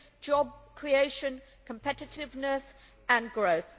job creation, competitiveness and growth.